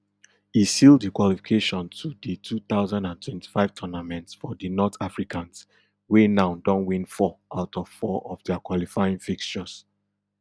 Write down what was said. e seal di qualification to di two thousand and twenty-five tournament for di north africans wey now don win four out of four of dia qualifying fixtures